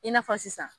I n'a fɔ sisan